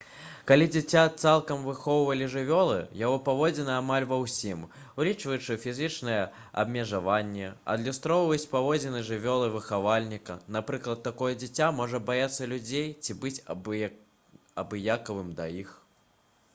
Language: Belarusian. калі дзіця цалкам выхоўвалі жывёлы яго паводзіны амаль ва ўсім улічваючы фізічныя абмежаванні адлюстроўваюць паводзіны жывёлы-выхавальніка: напрыклад такое дзіця можа баяцца людзей ці быць абыякавым да іх